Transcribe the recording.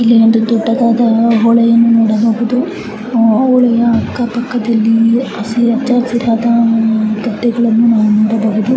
ಇಲ್ಲಿ ದೊಡ್ಡದಾದ ಹೊಳೆಯನ್ನು ನೋಡಬಹುದು. ಅಕ್ಕ ಪಕ್ಕ ಎಲ್ಲ ಹಸಿರಾದ ಗಿಡಮರಗಳನ್ನು ನೋಡಬಹುದು.